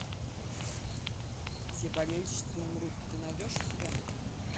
все болельщицы умрут ты найдешь у себя